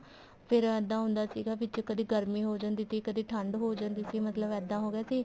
ਫ਼ੇਰ ਇੱਦਾਂ ਹੁੰਦਾ ਸੀਗਾ ਵਿੱਚ ਕਦੇ ਗਰਮੀ ਹੋ ਜਾਂਦੀ ਸੀ ਕਦੇ ਠੰਡ ਹੋ ਜਾਂਦੀ ਸੀ ਮਤਲਬ ਇੱਦਾਂ ਹੋ ਗਿਆ ਸੀ